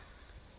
a re ake uke ichi